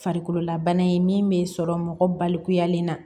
Farikololabana ye min bɛ sɔrɔ mɔgɔ balikuyalen na